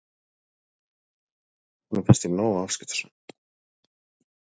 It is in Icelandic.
Honum finnst ég nógu afskiptasöm.